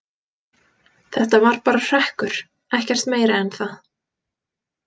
Þetta var bara hrekkur, ekkert meira en það.